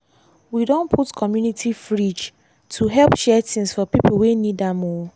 we don put community fridge to help share things for pipo wey need am. um